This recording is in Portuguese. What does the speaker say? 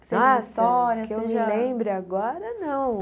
Nossa, que eu me lembro agora, não.